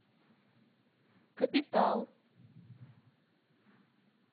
капитал